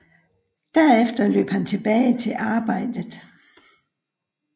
Derefter løb han tilbage til arbejdet